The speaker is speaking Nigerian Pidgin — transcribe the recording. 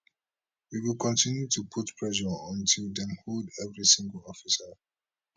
we go continue to put pressure until dem hold every single officer